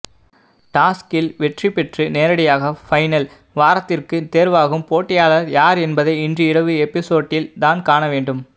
டாஸ்கில் வெற்றிப்பெற்று நேரடியாக பைனல் வாரத்திற்கு தேர்வாகும் போட்டியாளர் யார் என்பதை இன்று இரவு எபிசோட்டில் தான் காண வேண்டும்